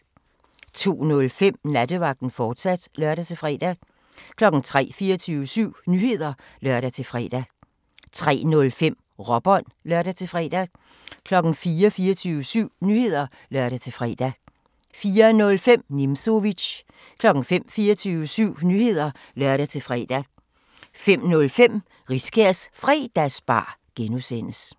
02:05: Nattevagten, fortsat (lør-fre) 03:00: 24syv Nyheder (lør-fre) 03:05: Råbånd (lør-fre) 04:00: 24syv Nyheder (lør-fre) 04:05: Nimzowitsch 05:00: 24syv Nyheder (lør-fre) 05:05: Riskærs Fredagsbar (G)